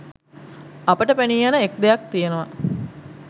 අපට පෙනීයන එක් දෙයක් තියෙනවා.